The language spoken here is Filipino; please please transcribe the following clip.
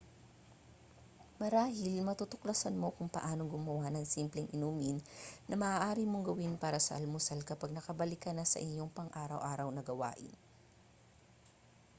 marahil matutuklasan mo kung paano gumawa ng simpleng inumin na maaari mong gawin para sa almusal kapag nakabalik ka na sa iyong pang-araw-araw na gawain